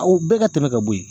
o bɛɛ ka tɛmɛ ka bo ye